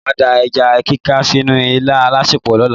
Màá da ẹja kíká sínú ilá alásèpò lọ́la.